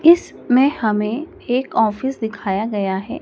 इसमें हमें एक ऑफिस दिखाया गया है।